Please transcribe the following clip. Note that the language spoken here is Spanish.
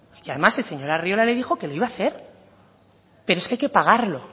y además el señor arriola le dijo que lo iba a hacer pero es que hay que pagarlo